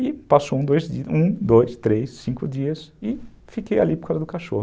E passou um, dois, três, cinco dias e fiquei ali por causa do cachorro.